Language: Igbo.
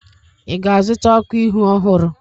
ị ga-azụta ọkụ ihu ọhụrụ?